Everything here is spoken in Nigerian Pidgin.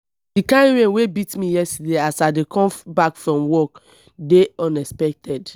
the kin rain wey beat me yesterday as i dey come back from work dey unexpected